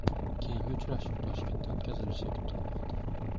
Keyingi uchrashuv Toshkentda o‘tkazilishi kutilmoqda.